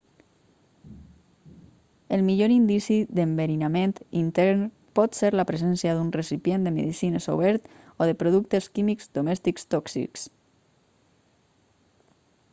el millor indici d'enverinament intern pot ser la presència d'un recipient de medicines obert o de productes químics domèstics tòxics